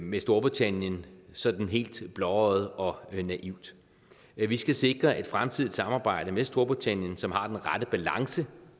med storbritannien sådan helt blåøjet og naivt vi skal sikre et fremtidigt samarbejde med storbritannien som har den rette balance